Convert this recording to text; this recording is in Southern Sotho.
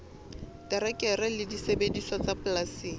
terekere le disebediswa tsa polasing